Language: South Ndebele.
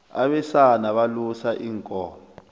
abesana balusa iinkomo